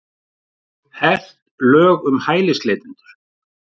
Hert lög um hælisleitendur